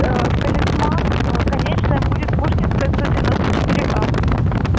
талисман конечная будет пушкинская сто девяносто четыре а